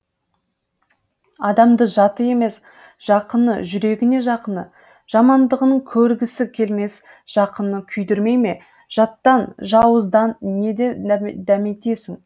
адамды жаты емес жақыны жүрегіне жақыны жамандығын көргісі келмес жақыны күйдірмей ме жаттан жауыздан не дәметесің